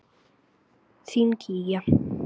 Þín Gígja.